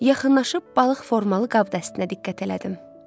Yaxınlaşıb balıq formalı qab dəstinə diqqət elədim.